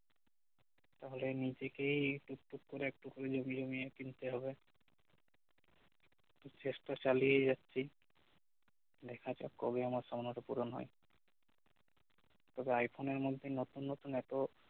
তাহলে নিজেকেই টুকটুক করে একটুকু জমিয়ে জমিয়ে কিনতে হবে তবে চেষ্টা চালিয়ে যাচ্ছি দেখা যাক কবে আমার স্বপ্নটা পুরন হয় তবে আইফোন এর মধ্যে নতুন নতুন এতো